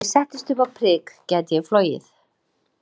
Ef ég settist upp á prik gæti ég flogið.